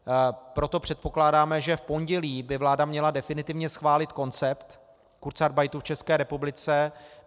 Proto předpokládáme, že v pondělí by vláda měla definitivně schválit koncept kurzarbeitu v České republice.